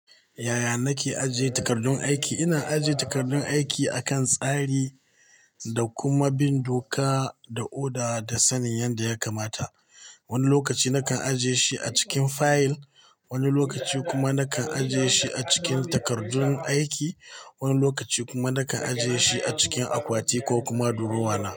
Yaya nake ajiye takardun aiki, ina ajiye takardun aiki akan tsari da kuma bin doka da oda da sanin yadda ya kamata. Wani lokaci nakan ajiye shi a cikin fayil, wani lokaci kuma nakan ajiye shi a cikin takardun aiki, wani lokaci kuma nakan ajiye shi a cikin akwati ko kuma durowa na.